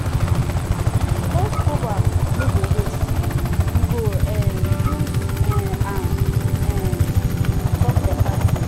old proverb no go waste we go um use um am um talk beta thing.